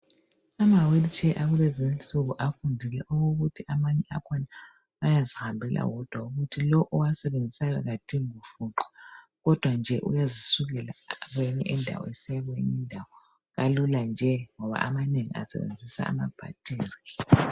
Ama wheel chair akulezinsuku afundile okokuthi amanye akhona ayazihambela wodwa ukuthi lowo owasebenzisayo akadingi kufuqwa kodwa nje uyazisukela kweyinye indawo usiya kweyinye indawo kalula nje ngoba amanengi asebenzisa ama bhathiri